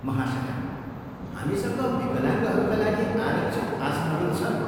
महाशया, हामीसँग विकलाङ्गहरूका लागि आरक्षित आसनहरू छन्।